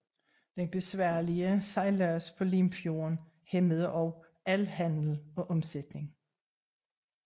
Den besværlige sejlads på Limfjorden hæmmede også al handel og omsætning